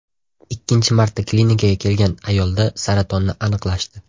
Ikkinchi marta klinikaga kelgan ayolda saratonni aniqlashdi.